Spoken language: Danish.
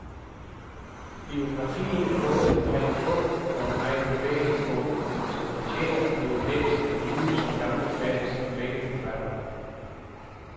Biografien er både en meget klog og en meget bevægende bog, som fortjener at blive læst af nye som gamle fans af begge forfattere.